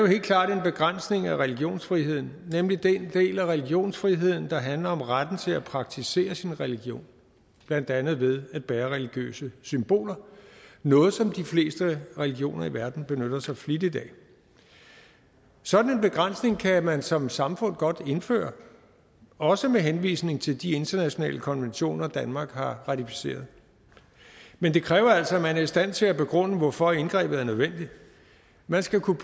helt klart en begrænsning af religionsfriheden nemlig den del af religionsfriheden der handler om retten til at praktisere sin religion blandt andet ved at bære religiøse symboler noget som de fleste religioner i verden benytter sig flittigt af sådan en begrænsning kan man som samfund godt indføre også med henvisning til de internationale konventioner danmark har ratificeret men det kræver altså at man er i stand til at begrunde hvorfor indgrebet er nødvendigt man skal kunne